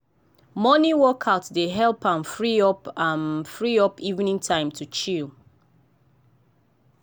morning workout dey help am free up am free up evening time to chill.